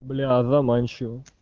бля заманчиво